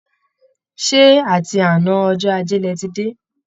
Ṣé àti àná ọjọ́ ajé lẹ ti dé?